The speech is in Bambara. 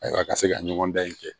Ayiwa a ka se ka ɲɔgɔndan in kɛ